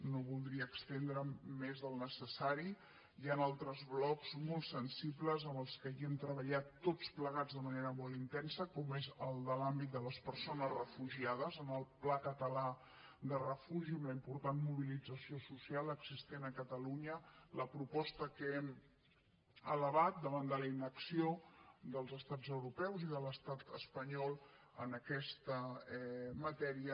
no voldria estendre’m més del necessari hi han altres blocs molt sensibles en els que hi hem treballat tots plegats de manera molt intensa com és el de l’àmbit de les persones refugiades en el pla català de refugi una important mobilització social existent a catalunya la proposta que hem elevat davant la inacció dels estats europeus i de l’estat espanyol en aquesta matèria